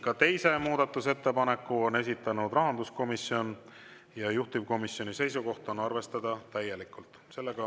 Ka teise muudatusettepaneku on esitanud rahanduskomisjon ja juhtivkomisjoni seisukoht on arvestada täielikult.